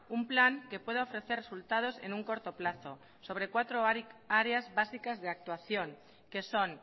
un plan que pueda ofrecer resultados en un corto plazo sobre cuatro áreas básicas de actuación que son